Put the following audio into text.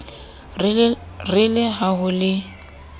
re le ha ho le